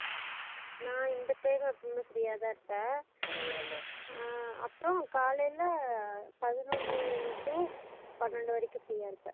நா இந்த time ல full உம் free அ தா இருப்பன் அஹ் அப்பறோ காலைல பதனொன்னு two பணண்டு வரைக்கும் free அ இருப்ப